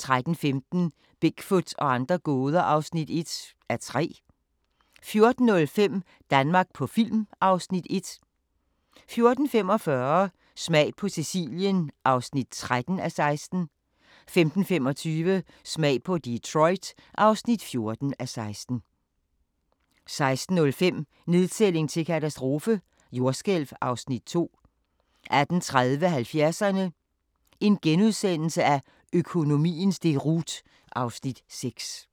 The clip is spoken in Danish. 13:15: Bigfoot og andre gåder (1:3) 14:05: Danmark på film (Afs. 1) 14:45: Smag på Sicilien (13:16) 15:25: Smag på Detroit (14:16) 16:05: Nedtælling til katastrofe – jordskælv (Afs. 2) 18:30: 70'erne: Økonomiens deroute (Afs. 6)*